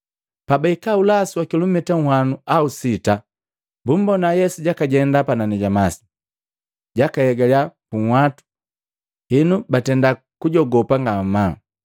Pabahika ulasu wa kilumita nhwanu au sita bumbona Yesu jakajenda panani ja masi, jakaegaliya punhwatu, henu batenda kujogopa ngamaa.